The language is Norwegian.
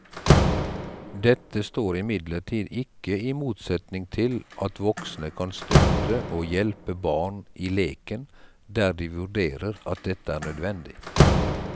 Dette står imidlertid ikke i motsetning til at voksne kan støtte og hjelpe barn i leken der de vurderer at dette er nødvendig.